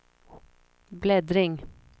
bläddring